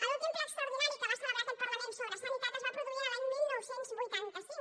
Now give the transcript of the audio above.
l’últim ple extraordinari que va celebrar aquest parlament sobre sanitat es va produir l’any dinou vuitanta cinc